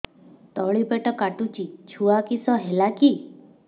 ତଳିପେଟ କାଟୁଚି ଛୁଆ କିଶ ହେଲା କି